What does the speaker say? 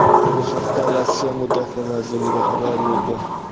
Bu haqda Rossiya Mudofaa vazirligi xabar berdi .